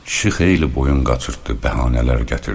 Kişi xeyli boyun qaçırtdı, bəhanələr gətirdi.